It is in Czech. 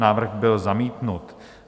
Návrh byl zamítnut.